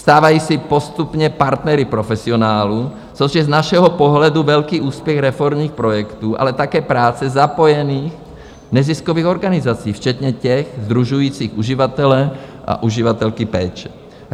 Stávají se postupně partnery profesionálů, což je z našeho pohledu velký úspěch reformních projektů, ale také práce zapojených neziskových organizací, včetně těch sdružující uživatele a uživatelky péče.